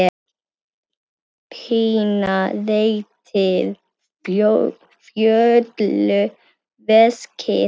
Pína réttir Fjólu veskið.